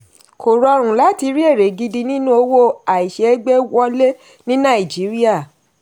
kò rọrùn láti rí èrè gidi nínú owó àìṣeégbé wọlé ní nàìjíríà.